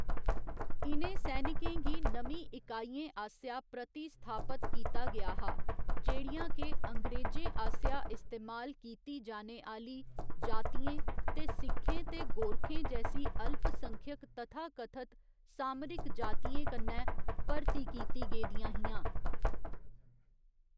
इ'नें सैनिकें गी नमीं इकाइयें आसेआ प्रतिस्थापत कीता गेआ हा, जेह्‌‌ड़ियां के अंग्रेजें आसेआ इस्तेमाल कीती जाने आह्‌‌‌ली जातियें ते सिक्खें ते गोरखें जैसी अल्पसंख्यक तथाकथत 'सामरिक जातियें' कन्नै भर्ती कीती गेदियां हियां।